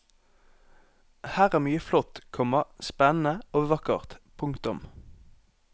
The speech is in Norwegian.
Her er mye flott, komma spennende og vakkert. punktum